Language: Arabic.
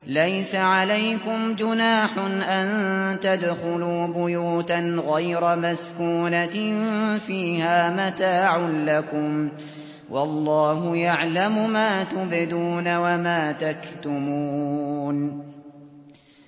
لَّيْسَ عَلَيْكُمْ جُنَاحٌ أَن تَدْخُلُوا بُيُوتًا غَيْرَ مَسْكُونَةٍ فِيهَا مَتَاعٌ لَّكُمْ ۚ وَاللَّهُ يَعْلَمُ مَا تُبْدُونَ وَمَا تَكْتُمُونَ